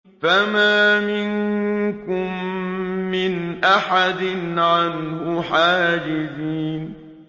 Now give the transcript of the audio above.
فَمَا مِنكُم مِّنْ أَحَدٍ عَنْهُ حَاجِزِينَ